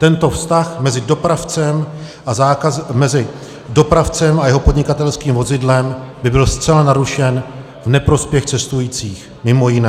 Tento vztah mezi dopravcem a jeho podnikatelským vozidlem by byl zcela narušen v neprospěch cestujících, mimo jiné.